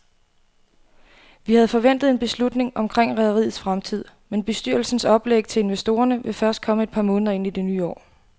Vi havde forventet en beslutning omkring rederiets fremtid, men bestyrelsens oplæg til investorerne vil først komme et par måneder ind i det nye år.